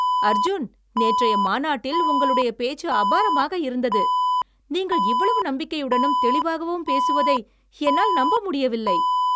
அர்ஜுன், நேற்றைய மாநாட்டில் உங்களுடைய பேச்சு அபாரமாக இருந்தது. நீங்கள் இவ்வளவு நம்பிக்கையுடனும், தெளிவாகவும் பேசுவதை என்னால் நம்ப முடியவில்லை.